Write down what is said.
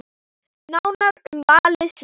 Nánar um valið síðar.